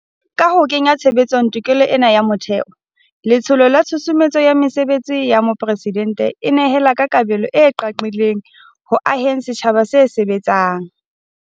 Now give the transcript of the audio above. Ka ho kenya tshebetsong tokelo ena ya motheo, Letsholo la Tshusumetso ya Mesebetsi ya Mopresidente e nehela ka kabelo e qaqileng ho aheng setjhaba se sebetsang.